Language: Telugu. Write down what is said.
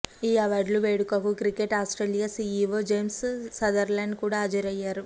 ఈ అవార్డుల వేడుకకు cricket Australia CEO James Sutherland కూడా హాజరయ్యారు